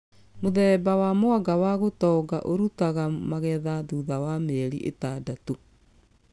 Mũthemba wa mwanga wa gũtonga ũrũtaga magetha thutha wa mĩeri ĩtandatũ